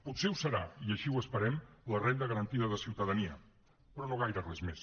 potser ho serà i així ho esperem la renda garantida de ciutadania però no gaire res més